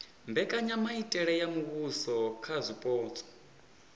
mbekanyamitele ya muvhuso kha zwipotso